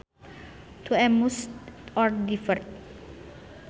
To amuse or divert